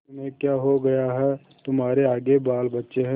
तुम्हें क्या हो गया है तुम्हारे आगे बालबच्चे हैं